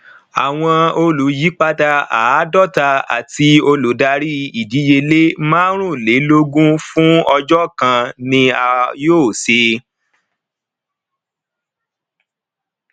àwọn olùyípadà àádọta àti olùdarí ìdíyelé márùúnlélógún fún ọjọ kan ni a yóò ṣe